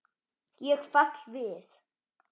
Ég fell við.